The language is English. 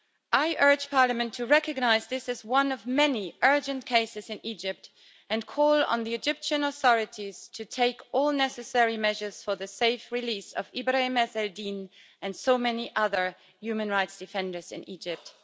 I urge Parliament to recognise this as one of many urgent cases in Egypt and call on the Egyptian authorities to take all necessary measures for the safe release of Ibrahim Ezz El-Din and so many other human rights defenders in Egypt.